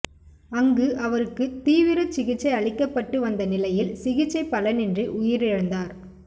அங்கு அவருக்கு தீவிர சிகிச்சை அளிக்கப்பட்டு வந்த நிலையில் சிகிச்சை பலனின்றி உயிரிழந்தார்